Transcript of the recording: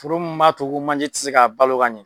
Foro mun b'a to ko manje ti se ka balo ka ɲɛ.